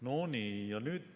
" No nii.